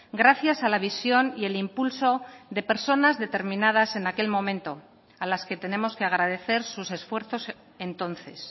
gracias a la visión y el impulso de personas determinadas en aquel momento a las que tenemos que agradecer sus esfuerzos entonces